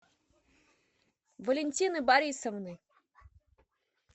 валентины борисовны